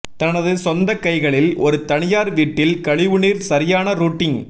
தனது சொந்த கைகளில் ஒரு தனியார் வீட்டில் கழிவுநீர் சரியான ரூட்டிங்